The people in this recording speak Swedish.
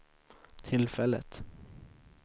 tillfället